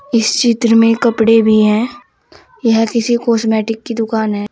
इस चित्र में कपड़े भी हैं यह किसी कॉस्मेटिक की दुकान है।